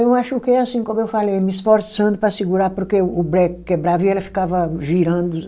Eu acho que é assim, como eu falei, me esforçando para segurar porque o breque quebrava e ela ficava girando